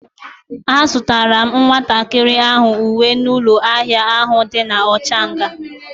A zutara m nwatakiri ahu uwe n'ulo ahia ahu di na Ochanja